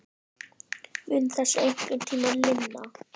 Mun þessu einhvern tímann linna?